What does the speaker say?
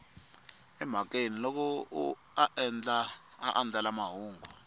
emhakeni loko a andlala mahungu